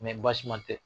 baasi man tɛ